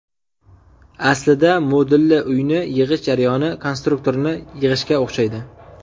Aslida, modulli uyni yig‘ish jarayoni konstruktorni yig‘ishga o‘xshaydi.